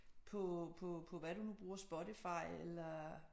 På på på hvad du nu bruger Spotify eller